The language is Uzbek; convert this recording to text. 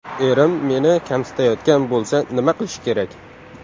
Erim meni kamsitayotgan bo‘lsa nima qilish kerak?